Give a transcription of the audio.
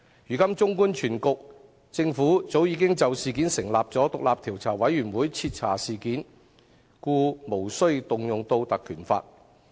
如今綜觀全局，政府早已就事件成立調查委員會徹查事件，故無須引用《條例》。